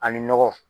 Ani nɔgɔ